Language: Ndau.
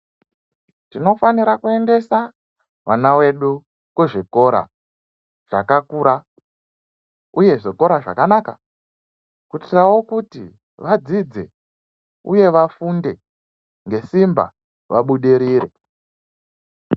Tinofanira kuendesa vana vedu kuzvikora zvakakura uye zvikora zvakanaka kuitirawo kuyi vadzidze uye vafunde ngesimba vabudirire.